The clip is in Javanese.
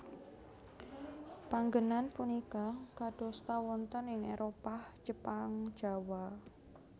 Panggènan punika kadosta wonten ing Éropah Jepang Jawa